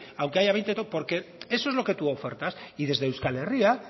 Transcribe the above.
aunque haya veinte porque eso es lo que tú ofertas y desde euskal herria